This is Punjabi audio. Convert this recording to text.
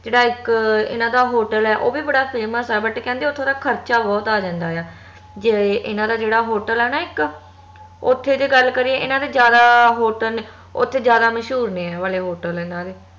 ਜੇਹੜਾ ਇਕ ਏਹਨਾ ਦਾ ਹੋਟਲ ਆ ਓਹ ਵੀ ਬੜਾ famous ਆ but ਕਹਿੰਦੇ ਉਥੋਂ ਦਾ ਖਰਚਾ ਬਹੁਤ ਆ ਜਾਂਦਾ ਆ ਜਿਵੇ ਏਹਨਾ ਦਾ ਜੇਹੜਾ ਹੋਟਲ ਆ ਨਾ ਇਕ ਓਥੇ ਜ ਗੱਲ ਕਰੀਏ ਏਨਾ ਦਾ ਜਾਦਾ ਹੋਟਲ ਓਥੇ ਜਾਦਾ ਮਸ਼ਹੂਰ ਨੇ ਆ ਵਾਲੇ ਹੋਟਲ ਇਹਨਾਂ ਦੇ